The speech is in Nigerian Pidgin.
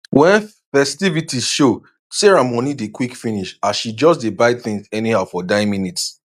when ffestivities show sarah money dey quick finish as she just dey buy things anyhow for dying minute